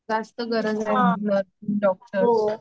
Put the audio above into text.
जास्त गरज आहे